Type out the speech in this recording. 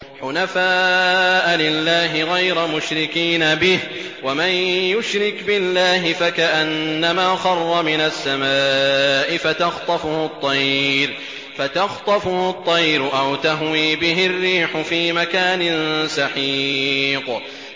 حُنَفَاءَ لِلَّهِ غَيْرَ مُشْرِكِينَ بِهِ ۚ وَمَن يُشْرِكْ بِاللَّهِ فَكَأَنَّمَا خَرَّ مِنَ السَّمَاءِ فَتَخْطَفُهُ الطَّيْرُ أَوْ تَهْوِي بِهِ الرِّيحُ فِي مَكَانٍ سَحِيقٍ